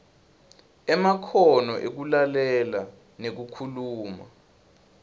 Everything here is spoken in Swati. emakhono ekulalela nekukhuluma